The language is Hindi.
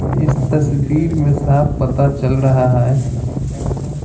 इस तस्वीर में साफ पता चल रहा है।